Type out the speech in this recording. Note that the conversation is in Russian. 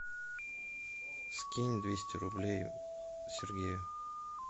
скинь двести рублей сергею